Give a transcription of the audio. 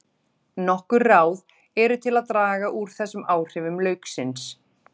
Nokkur ráð eru til að draga úr þessum áhrifum lauksins.